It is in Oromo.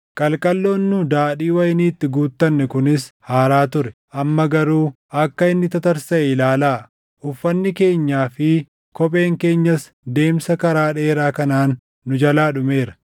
Qalqalloon nu daadhii wayinii itti guutanne kunis haaraa ture; amma garuu akka inni tatarsaʼe ilaalaa. Uffanni keenyaa fi kopheen keenyas deemsa karaa dheeraa kanaan nu jalaa dhumeera.”